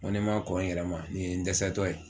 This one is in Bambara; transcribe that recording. N ko ni n ma kɔn n yɛrɛ ma nin ye n dɛsɛ tɔ ye